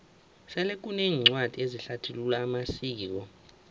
sele kuneencwadi ezihlathulula amasiko